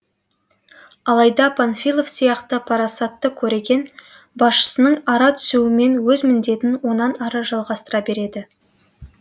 алайда панфилов сияқты парасатты көреген басшының ара түсуімен өз міндетін онан ары жалғастыра береді